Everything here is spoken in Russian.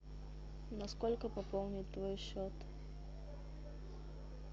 на сколько пополнить твой счет